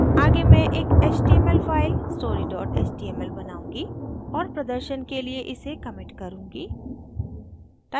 आगे मैं एक html फाइल story html बनाऊंगी और प्रदर्शन के लिए इसे commit करुँगी